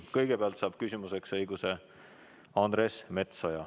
Kõigepealt saab küsimuseks õiguse Andres Metsoja.